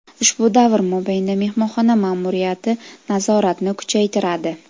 ushbu davr mobaynida mehmonxona ma’muriyati nazoratni kuchaytiradi.